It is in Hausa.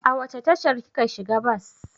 A wace tashar kika shiga bas?